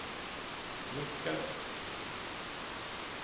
nickade